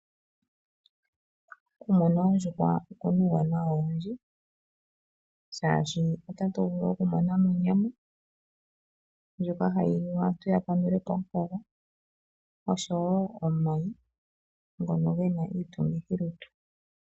Okumuna oondjuhwa okuna uuwanawa owundji shashi otatu vulu okumonamo onyama ndjoka hayi liwa aantu ya kandulepo omukaga oshowo omayi ngono gena iitungithi lutu.